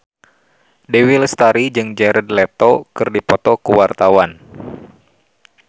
Dewi Lestari jeung Jared Leto keur dipoto ku wartawan